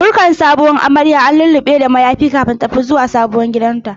Fuskar sabuwar amarya an lullube da mayafi kafin su tafi sabon gidanta.